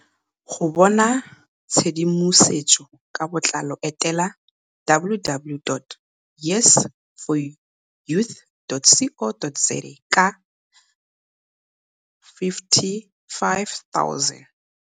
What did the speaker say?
Go bona tshedimosetso ka botlalo etela - www.yes4youth.co.za. Ka R55 000.